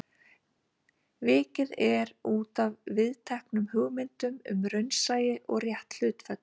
Vikið er útaf viðteknum hugmyndum um raunsæi og rétt hlutföll.